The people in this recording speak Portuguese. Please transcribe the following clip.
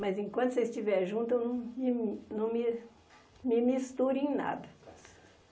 Mas enquanto vocês estiverem juntos, eu não me não me me misturo em nada.